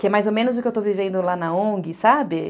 Que é mais ou menos o que eu estou vivendo lá na on gue, sabe?